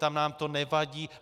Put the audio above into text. Tam nám to nevadí.